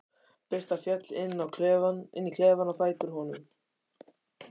Birta féll inn í klefann á fætur honum.